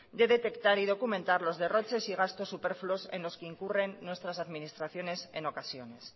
de detectar y documentar los derroches y gastos superfluos en los que incurren nuestras administraciones en ocasiones